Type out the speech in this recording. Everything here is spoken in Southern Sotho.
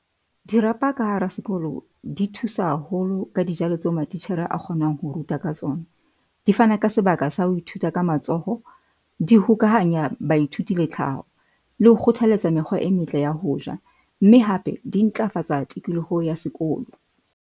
Dirapa ka hara sekolo, di thusa haholo ka dijalo tseo matitjhere a kgonang ho ruta ka tsona. Di fana ka sebaka sa ho ithuta ka matsoho, di hokahanya baithuti le tlhaho le ho kgothaletsa mekgwa e metle ya ho ja mme hape di ntlafatsa tikoloho ya sekolo.